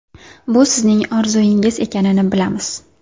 Bu sizning orzungiz ekanini bilamiz!